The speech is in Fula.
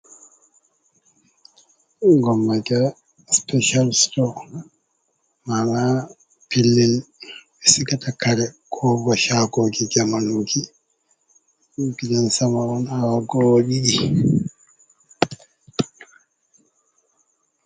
Gammaja special stow mana pellel be sigata kare, kobo shagoji jamanuji gidan sama on awa go o didi.